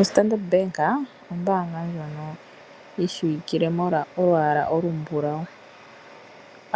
OStandard Bank ombaanga ndjono yishiwikilwe molwa olwaala ndono olumbulawu.